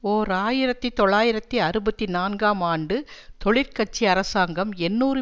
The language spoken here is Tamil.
ஓர் ஆயிரத்தி தொள்ளாயிரத்தி அறுபத்தி நான்காம் ஆண்டு தொழிற்கட்சி அரசாங்கம் எண்ணூறு